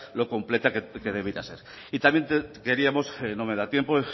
lo completa que debiera ser y también queríamos no me da tiempo